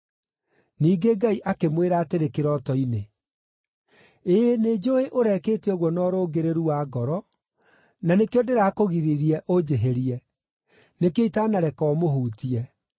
Ningĩ Ngai akĩmwĩra atĩrĩ kĩroto-inĩ, “Ĩĩ, nĩnjũũĩ ũrekĩte ũguo na ũrũngĩrĩru wa ngoro, na nĩkĩo ndĩrakũgiririe ũnjĩhĩrie. Nĩkĩo itanareka ũmũhutie.